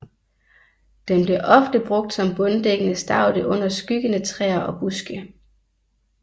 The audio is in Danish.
Den bliver ofte brugt som bunddækkende staude under skyggende træer og buske